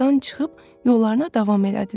Yuvadan çıxıb yollarına davam elədilər.